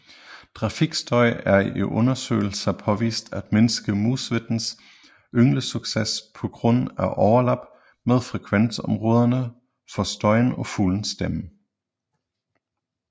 Trafikstøj er i undersøgelser påvist at mindske musvittens ynglesucces på grund af overlap mellem frekvensområderne for støjen og fuglens stemme